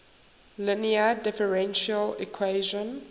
linear differential equation